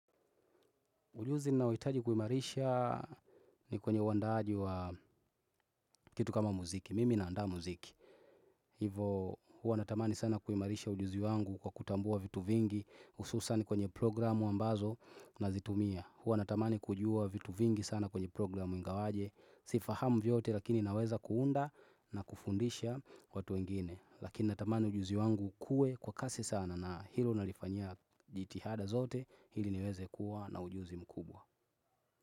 Ujuzi ninaohitaji kuimarisha ni kwenye uandaaji wa kitu kama muziki. Mimi naandaa muziki. Hivo, huwa natamani sana kuimarisha ujuzi wangu kwa kutambua vitu vingi, hususani kwenye programu ambazo nazitumia. Huwa natamani kujua vitu vingi sana kwenye programu ingawaje. Sifahamu vyote, lakini naweza kuunda na kufundisha watu wengine. Lakini natamani ujuzi wangu ukue kwa kasi sana na hilo nalifanya jitihada zote, ili niweze kuwa na ujuzi mkubwa.